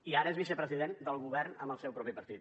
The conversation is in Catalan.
i ara és vicepresident del govern amb el seu propi partit